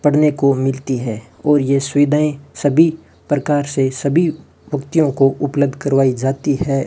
पढ़ने को मिलती है और ये सुविधायें सभी प्रकार से सभी व्यक्तियों को उपलब्ध करवाई जाती है।